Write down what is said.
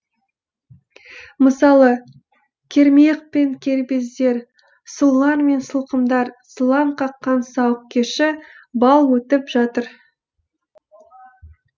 мысалы кермиық пен кербездер сұлулар мен сылқымдар сылаң қаққан сауық кеші балл өтіп жатыр